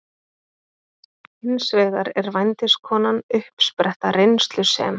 Hins vegar er vændiskonan uppspretta reynslu sem